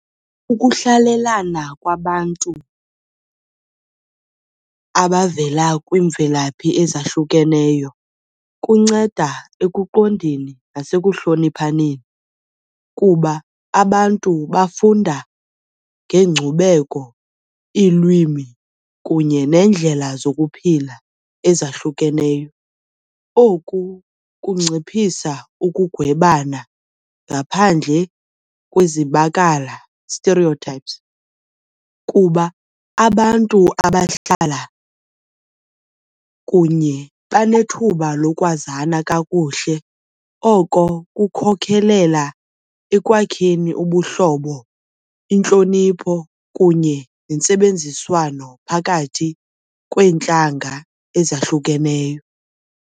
Ukuhlalelana kwabantu abavela kwiimvelaphi ezahlukeneyo kunceda ekuqondeni nasekuhloniphaneni kuba abantu bafunda ngeenkcubeko, iilwimi kunye neendlela zokuphila ezahlukeneyo. Oku kunciphisa ukugwebana ngaphandle kwezibakala, stereotypes, kuba abantu abahlala kunye banethuba lokwazana kakuhle oko kukhokhelela ekwakheni ubuhlobo, intlonipho kunye nentsebenziswano phakathi kweentlanga ezahlukeneyo.